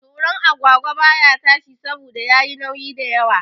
Toron agwagwa baya iya tashi saboda yayi nauyi da yawa